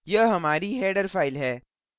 यह हमारी header header file है